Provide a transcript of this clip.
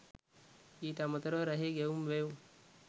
ඊට අමතරව රැහේ ගැයුම් වැයුම්